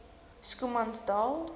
schoemansdal